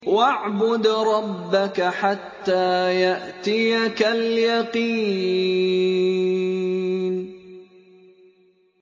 وَاعْبُدْ رَبَّكَ حَتَّىٰ يَأْتِيَكَ الْيَقِينُ